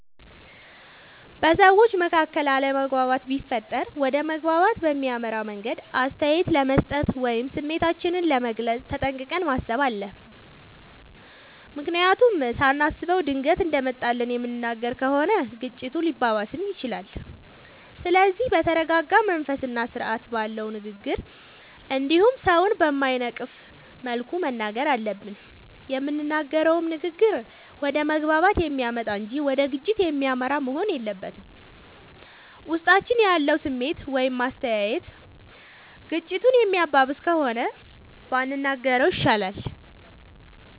በሠዎች መካከል አለመግባባት ቢፈጠር ወደ መግባባት በሚያመራ መንገድ አስተያየት ለመስጠት ወይም ስሜታችንን ለመግለፅ ተጠንቅቀን ማሠብ አለብ። ምክንያቱም ሳናስበው ድንገት እንደመጣልን የምንናገር ከሆነ ግጭቱ ሊባባስም ይችላል። ስለዚህ በተረረጋ መንፈስና ስርአት ባለው ንግግር እንዲሁም ሠውን በማይነቅፍ መልኩ መናገር አለብን። የምንናገረውም ንግግር ወደ መግባባት የሚያመጣ እንጂ ወደ ግጭት የሚመራ መሆን የለበትም። ውስጣችን ያለው ስሜት ወይም አስተያየት ግጭቱን የሚያባብስ ከሆነ ባንናገረው ይሻላል።